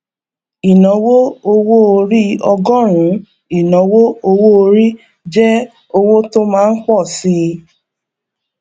ìnáwó owó orí ọgọrùnún ìnáwó owó orí jẹ owó tó má ńpọ síi